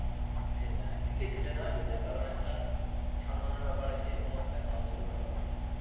সেটাই টিকিট কেটে নেওয়াই better. কারণ একটা সম্মানের ব্যাপার আছে এবং একটা সাহসেরও ব্যাপার থাকে।